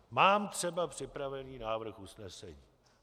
Mám třeba připravený návrh usnesení.